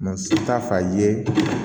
Mɛ si t'a ye